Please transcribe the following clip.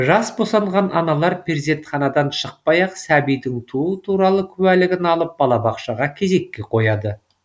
жас босанған аналар перзентханадан шықпай ақ сәбидің туу туралы куәлігін алып балабақшаға кезекке қояды